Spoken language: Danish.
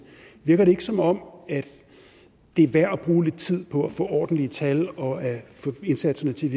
virker det ikke som om det er værd at bruge lidt tid på at få ordentlige tal og at få indsatserne til